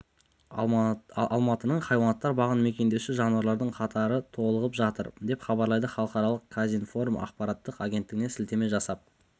алматының хайуанаттар бағын мекендеуші жануарлардың қатары толығып жатыр деп хабарлайды халықаралық казинформ ақпараттық агенттігіне сілтеме жасап